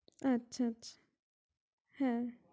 আচ্ছা আচ্ছা । হ্যাঁ!